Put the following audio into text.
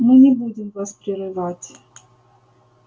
мы не будем вас прерывать